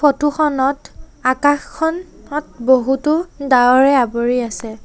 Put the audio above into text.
Photo খনত আকশখন নত বহুতো ডাৱৰে আবৰি আছে।